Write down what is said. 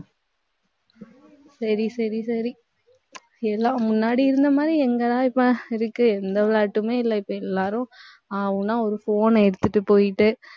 சரி, சரி, சரி எல்லாம் முன்னாடி இருந்த மாதிரி எங்கதான் இப்ப இருக்கு. எந்த விளையாட்டுமே இல்ல இப்ப எல்லாரும் ஆ~ ஊனா ஒரு phone அ எடுத்துட்டு போயிட்டு,